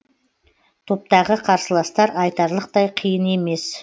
топтағы қарсыластар айтарлықтай қиын емес